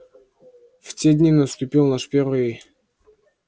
в те дни наступил наш первый